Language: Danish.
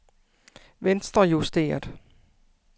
venstrejusteret